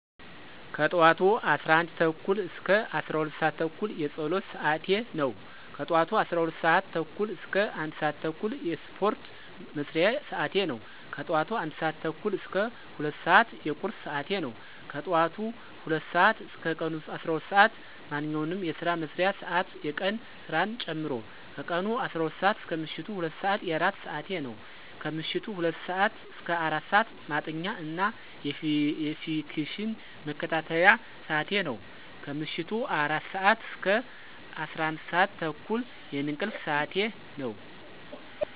ከጠዋቱ 11:30 - 12:30 የፀሎት ስዓቴ ነው። ከጠዋቱ 12:30 - 1:30 የስፓርት መስሪያ ስዓቴ ነው። ከጠዋቱ 1:30 - 2:00 የቁርስ ስዓቴ ነው። ከጠዋቱ 2:00 እስከ ቀኑ 12:00 ስዓት ማንኛውንም የስራ መስሪያ ስዓት የቀን ስራን ጨምሮ። ከቀኑ12:00 - ምሸቱ 2:00 የእራት ስዓቴ ነው። ከምሸቱ 2:00 - 4:00 ማጥኛ እና የፊክሽን መከታተያ ስዓቴ ነው። ከምሸቱ 4:00 - 11:30 የእንቅልፍ ስዓቴ ነው።